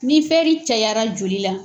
Ni fɛri cayara joli la.